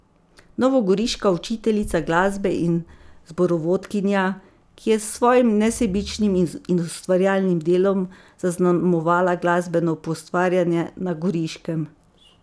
Novogoriška učiteljica glasbe in zborovodkinja, ki je s svojim nesebičnim in ustvarjalnim delom zaznamovala glasbeno poustvarjanje na Goriškem.